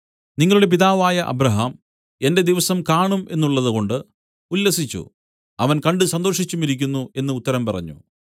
നിങ്ങളുടെ പിതാവായ അബ്രാഹാം എന്റെ ദിവസം കാണും എന്നുള്ളതുകൊണ്ട് ഉല്ലസിച്ചു അവൻ കണ്ട് സന്തോഷിച്ചുമിരിക്കുന്നു എന്നു ഉത്തരം പറഞ്ഞു